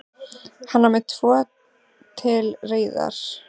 Hann var með tvo til reiðar.